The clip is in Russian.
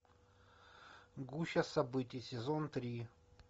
гуща событий сезон три